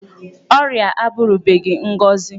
Ọrịa abụrụbeghị ngọzi.